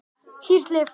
Hýrt líf